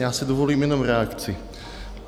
Já si dovolím jenom reakci.